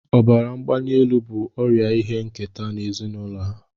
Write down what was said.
Ọbara mgbali elu bụ ọrịa ihe nketa n'ezinụlọ ha